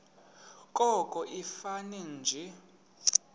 koko ifane nje